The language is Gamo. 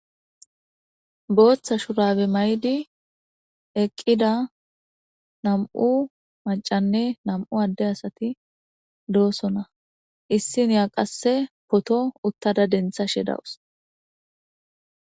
Bootha shurabe mayidi eqqida nam'u maccanne nam'u adde asati doosona; issiniya qasse poto uttada denthashe dawus.